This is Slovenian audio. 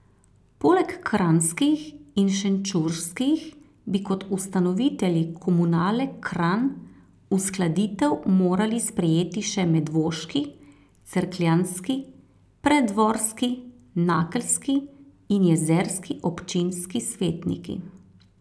Poleg kranjskih in šenčurskih bi kot ustanovitelji Komunale Kranj uskladitev morali sprejeti še medvoški, cerkljanski, preddvorski, nakelski in jezerski občinski svetniki.